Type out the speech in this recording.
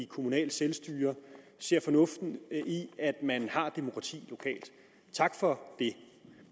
kommunale selvstyre ser fornuften i at man lokalt har demokrati tak for